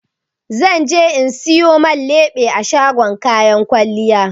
Zan je in siyo man leɓe a shagon kayan kwalliya.